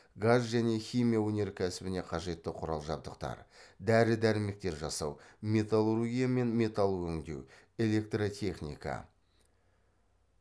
газ және химия өнеркәсібіне қажетті құрал жабдықтар дәрі дәрмектер жасау металлургия мен металл өңдеу электротехника